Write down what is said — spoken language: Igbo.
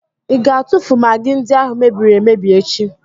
Ị ga-atụfu magị ndị ahụ mebiri emebi echi?